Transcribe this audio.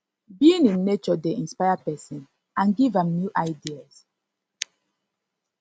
being in nature dey inspire pesin and give am new ideas